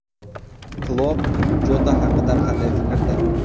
Klopp Jota haqida qanday fikrda?